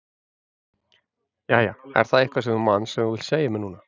Jæja, er það eitthvað sem þú manst sem þú vilt segja mér núna?